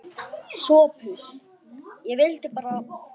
SOPHUS: Ég vildi bara.